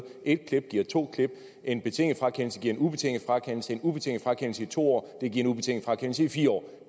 et klip giver to klip en betinget frakendelse giver en ubetinget frakendelse en ubetinget frakendelse i to år giver en ubetinget frakendelse i fire år